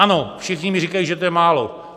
Ano, všichni mi říkají, že to je málo.